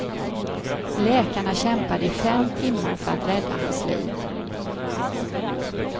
Läkarna kämpade i fem timmar för att rädda hans liv.